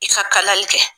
I ka kalali kɛ